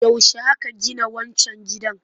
Yaushe aka gina wancan gidan?